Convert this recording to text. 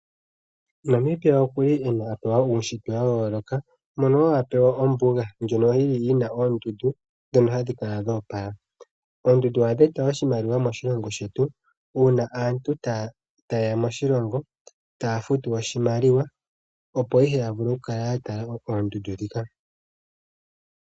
Namibia okuli ena apewa uushitwe wayooloka mono wo apewa ombuga ndjono yina oondundu dhono hadhi kala dhoopala. Oondundu ohadhi eta oshimaliwa moshilongo shetu uuna aantu tayeya moshilongo taafutu oshimaliwa opo ihe taavulu okukala yatala oondundu dhika.